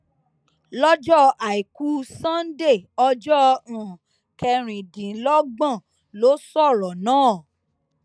lọjọ àìkú sánńdé ọjọ um kẹrìndínlọgbọn ló sọrọ náà